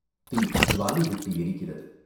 தீ ஜுவாலை விட்டு எரிகிறது.